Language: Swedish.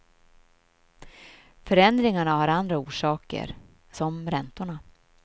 Förändringarna har andra orsaker, som räntorna.